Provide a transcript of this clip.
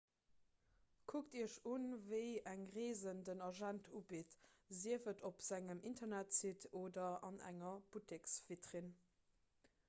kuckt iech un wéi eng reesen den agent ubitt sief et op sengem internetsite oder an enger butteksvitrinn